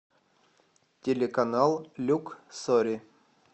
телеканал люксори